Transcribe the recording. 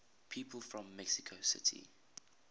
people from mexico city